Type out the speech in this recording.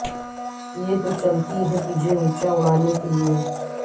یہ تو چلتی ہے تجھے اونچا اڑانے کے لئے